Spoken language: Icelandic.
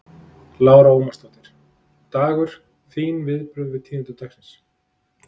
Lára Ómarsdóttir: Dagur, þín viðbrögð við tíðindum dagsins?